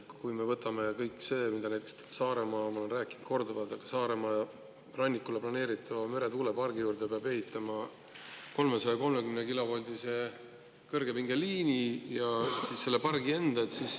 Võtame näiteks kõige selle, mida ma Saaremaa kohta olen korduvalt rääkinud: Saaremaa rannikule planeeritava meretuulepargi juurde peab ehitama 330-kilovoldise kõrgepingeliini sellele pargile endale.